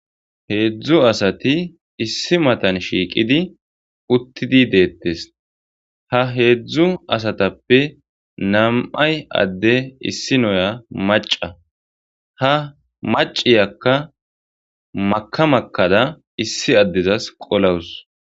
heedzdzu asati issi matan shiiqidi uttidi deettes ha heedzdzu asatappe nam7ay adde issi noya maca ha maciyakka makamakkada issi addezas qolawus